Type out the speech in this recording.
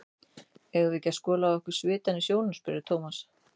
Eigum við ekki að skola af okkur svitann í sjónum? spurði Thomas.